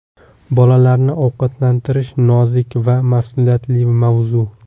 Bolalarni ovqatlantirish nozik va mas’uliyatli mavzu.